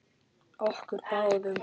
Okkur báðum.